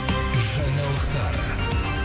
жаңалықтар